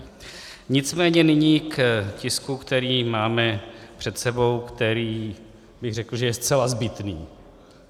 Nicméně nyní k tisku, který máme před sebou, který bych řekl, že je zcela zbytný.